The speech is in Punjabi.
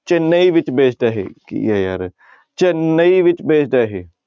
ਚੇਨਈ ਵਿੱਚ based ਆ ਇਹ ਕੀ ਆ ਯਾਰ ਚੇਨੰਈ ਵਿੱਚ based ਆ ਇਹ।